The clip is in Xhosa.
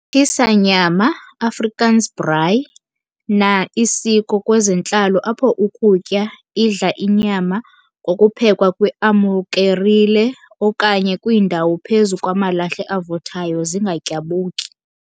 Tshisa nyama, Afrikaans- "Braai", na isiko kwezentlalo apho ukutya, idla inyama, kokupheka kwiamukerile okanye kwiindawo phezu kwamalahle avuthayo, zingatyabuki.